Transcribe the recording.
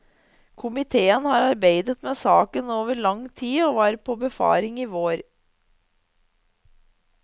Komitéen har arbeidet med saken over lang tid og var på befaring i vår.